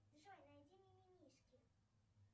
джой найди мимимишки